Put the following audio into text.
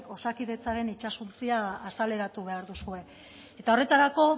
osakidetzaren itsasontzia azaleratu behar duzue eta horretarako